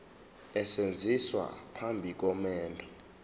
esenziwa phambi komendo